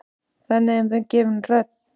Þannig er þeim gefin rödd.